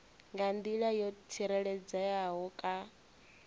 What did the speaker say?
nga nḓila yo tsireledzeaho kha